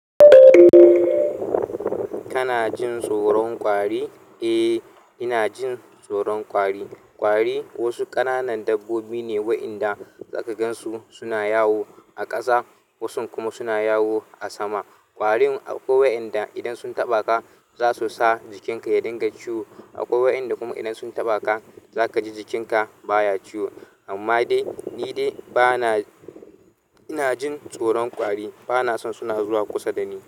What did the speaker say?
Kana jin tsoron ƙwari? Eh, ina jin tsoron ƙwari. Ƙwari wasu ƙananan dabbobi ne waƴanda za ka gan su suna yawo a ƙasa, wasun kuma suna yawo a sama. Ƙwarin akwai waƴanda idan sun taɓa ka za su sa jikinka ya dinga ciwo, akwai waɗanda kuma idan sun taɓa ka za ka ji jikinka baya ciwo. Amma dai nidai bana inajin tsoron ƙwari bana son suna zuwa kusa dani.